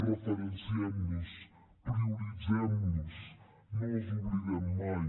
referenciem los prioritzem los no els oblidem mai